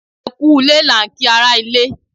Ẹ kú u lé là ń kí ara ilé.